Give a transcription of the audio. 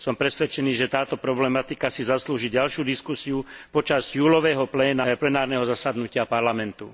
Som presvedčený, že táto problematika si zaslúži ďalšiu diskusiu počas júlového plenárneho zasadnutia Parlamentu.